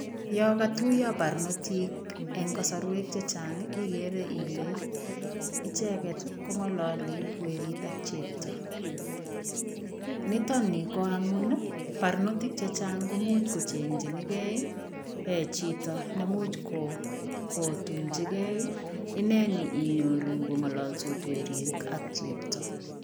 Yokatuya barnoti eng kasarwek che chang igere ile icheget ko ngaloli werit ak chepto. Nitok ni ko amun bartotik che chang komuch kochengchinigei chito nemuch kotunchigei. Inne ni inyoru kongololsot werit ak chepto